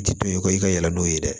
Ji to ye kɔ i ka yɛlɛ n'o ye dɛ